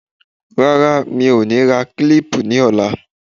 Rárá mi ò ní ra kílípù ní ọ̀la.